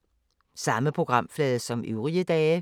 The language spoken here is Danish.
Samme programflade som øvrige dage